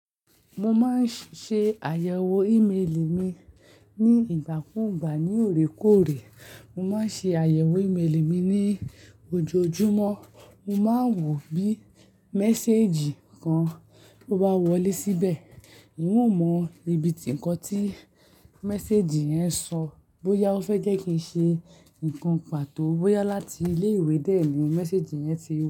Mo máa ń ṣe àyẹ̀wò ímélì mi ní ìgbà kúùgbà. Ní òrékòóré, mo máa ń ṣe àyẹ̀wò ímélì mi ní ojoojúmọ́. Mo máa ń wò bí méséèjì kan tó bá wọlé síbẹ̀. Nn o mọ ibi tí ǹkan tí méséjì yẹn sọ bóyá ó fẹ́ jẹ́ kí n ṣe nǹkan pàtó, bóyá láti ilé ìwé dẹ̀ ni méséjì yẹn ti.